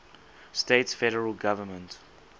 states federal government